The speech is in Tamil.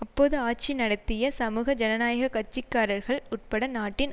அப்போது ஆட்சி நடத்திய சமூக ஜனநாயக கட்சி காரர்கள் உட்பட நாட்டின்